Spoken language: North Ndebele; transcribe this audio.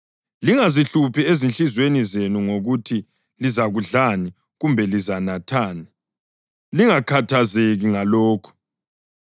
Lingazihluphi ezinhliziyweni zenu ngokuthi lizakudlani kumbe lizanathani; lingakhathazeki ngalokho.